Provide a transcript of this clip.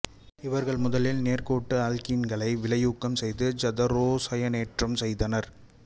இவர்கள் முதலில் நேர்கோட்டு ஆல்க்கீன்களை வினையூக்கம் செய்து ஐதரோசயனேற்றம் செய்தனர்